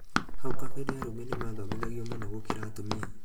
hau kabere arũme nĩmathomithagio mũno gũkĩra atumia.